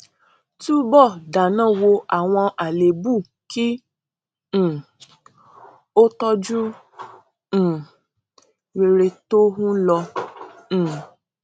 túbọ dáná wo àwọn àléébù kí um o tọjú um rere tó ń lọ um